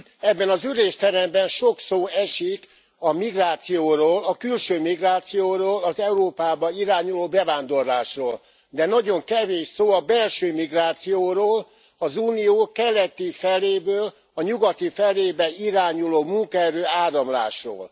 Ebben az ülésteremben sok szó esik a migrációról, a külső migrációról, az Európába irányuló bevándorlásról, de nagyon kevés szó a belső migrációról, az Unió keleti feléből a nyugati felébe irányuló munkaerő áramlásról.